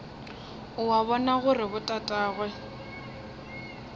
o a bona gore botatagwe